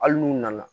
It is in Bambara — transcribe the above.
Hali n'u nana